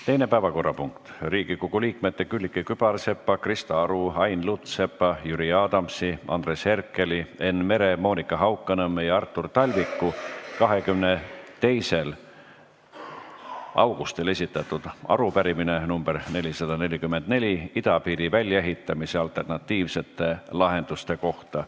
Teine päevakorrapunkt on Riigikogu liikmete Külliki Kübarsepa, Krista Aru, Ain Lutsepa, Jüri Adamsi, Andres Herkeli, Enn Mere, Monika Haukanõmme ja Artur Talviku 22. augustil esitatud arupärimine idapiiri väljaehitamise alternatiivsete lahenduste kohta.